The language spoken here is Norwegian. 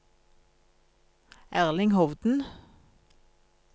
Erling Hovden